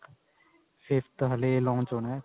fifth ਹਲੇ launch ਹੋਣਾ